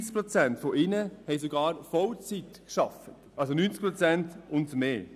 33 Prozent von ihnen arbeiteten sogar Vollzeit, also zu einem Pensum von 90 Prozent und höher.